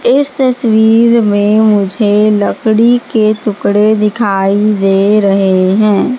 इस तस्वीर में मुझे लकड़ी के टुकड़े दिखाई दे रहे हैं।